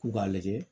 K'u k'a lajɛ